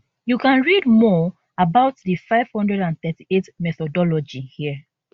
you can read more about the 538 methodology here